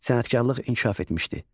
Sənətkarlıq inkişaf etmişdi.